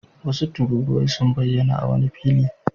Wasu tururuwai sun bayyana a wani fili.